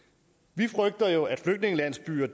vi frygter jo at flygtningelandsbyer